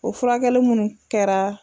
O furakɛli munnu kɛra